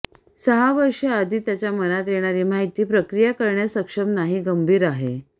सहा वर्षे आधी त्याच्या मनात येणारे माहिती प्रक्रिया करण्यास सक्षम नाही गंभीर आहे